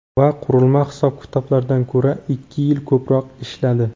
va qurilma hisob-kitoblardan ko‘ra ikki yil ko‘proq ishladi.